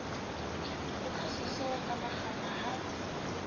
oka seso ka makgapha ha